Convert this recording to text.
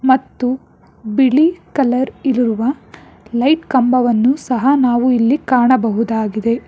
ಮತ್ತು ಬಿಳಿ ಕಲರ್ ಇರುವ ಲೈಟ್ ಕಂಬವನ್ನು ಸಹ ನಾವು ಇಲ್ಲಿ ಕಾಣಬಹುದಾಗಿದೆ.